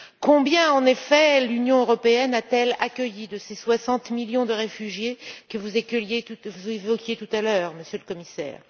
Combien, en effet, l'Union européenne a t elle accueilli de ces 60 millions de réfugiés que vous évoquiez tout à l'heure, Monsieur le Commissaire?